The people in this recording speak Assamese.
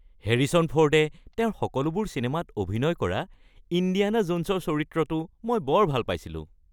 হেৰিছন ফৰ্ডে তেওঁৰ সকলোবোৰ চিনেমাত অভিনয় কৰা ইণ্ডিয়ানা জোনছৰ চৰিত্ৰটো মই বৰ ভাল পাইছিলোঁ।